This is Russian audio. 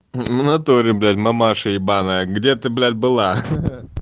внатуре блять мамаша ебаная где ты блять была